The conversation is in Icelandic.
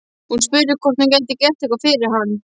Hún spurði hvort hún gæti gert eitthvað fyrir hann.